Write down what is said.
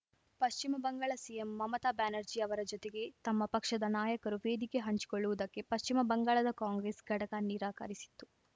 ಪಶ್ಚಿಮ ಬಂಗಾಳ ಸಿಎಂ ಮಮತಾ ಬ್ಯಾನರ್ಜಿ ಅವರ ಜೊತೆಗೆ ತಮ್ಮ ಪಕ್ಷದ ನಾಯಕರು ವೇದಿಕೆ ಹಂಚಿಕೊಳ್ಳುವುದಕ್ಕೆ ಪಶ್ಚಿಮ ಬಂಗಾಳದ ಕಾಂಗ್ರೆಸ್‌ ಘಟಕ ನಿರಾಕರಿಸಿತ್ತು